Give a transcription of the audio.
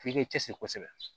F'i k'i cɛsiri kosɛbɛ